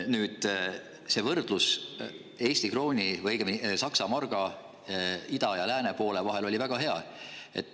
Nüüd, see võrdlus Saksa marga, ida ja lääne omaga oli väga hea.